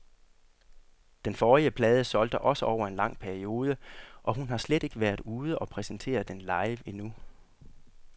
Den forrige plade solgte også over en lang periode, og hun har slet ikke været ude og præsentere den live endnu.